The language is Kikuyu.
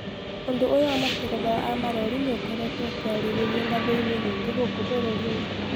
ũndũ ũyũ wa matereba a malori niikoretwo ũkiariririo ngathi-ini nyingi gũkũ bũrũri-inĩ.